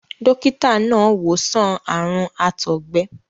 dókítà náà wò sàn àrùn àtọ̀gbẹ.